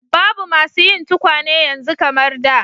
Babu masu yin tukwane yanzu kamar da.